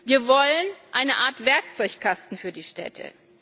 Wir wollen eine Art Werkzeugkasten für die Städte.